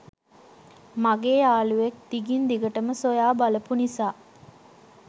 මගේ යාළුවෙක් දිගින් දිගටම සොයා බලපු නිසා.